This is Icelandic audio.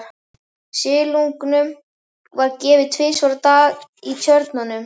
Silungnum var gefið tvisvar á dag í tjörnunum.